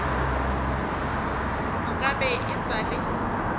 nka be e sa le